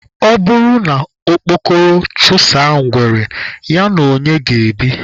Ọ bụrụ na okpokoro chụsaa ngwere, ya na onye ga-ebi?